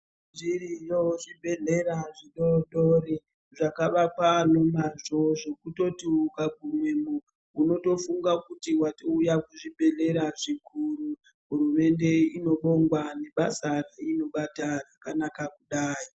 Zviriyo zvibhedhlera zvidoodori zvakavakwa nemazvo zvekutoti ukagumemo unotofunga kuti watouya kuzvibhehlera zvikuru. Hurumende inobongwa nebasa reinobata rakanaka kudai.